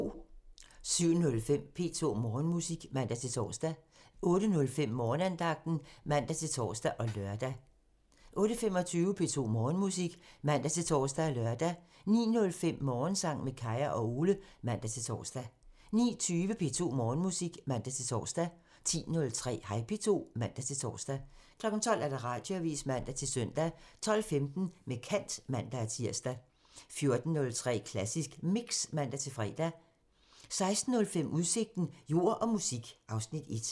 07:05: P2 Morgenmusik (man-tor) 08:05: Morgenandagten (man-tor og lør) 08:25: P2 Morgenmusik (man-tor og lør) 09:05: Morgensang med Kaya og Ole (man-tor) 09:20: P2 Morgenmusik (man-tor) 10:03: Hej P2 (man-tor) 12:00: Radioavisen (man-søn) 12:15: Med kant (man-tir) 14:03: Klassisk Mix (man-fre) 16:05: Udsigten – Jord og musik (Afs. 1)